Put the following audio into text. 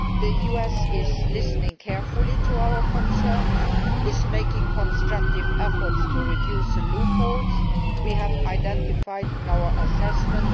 the USA is listening carefully to our concerns and making constructive efforts to reduce the loopholes we have identified in our assessment.